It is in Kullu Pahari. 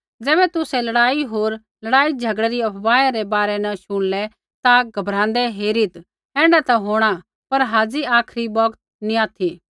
ज़ैबै तुसै लड़ाई होर लड़ाईझ़गड़ै री अफवाहै रै बारै न शुणलै ता घबराँदै हेरीत् ऐण्ढा ता होंणा पर हाज़ी आखरी बौगत नी ऑथि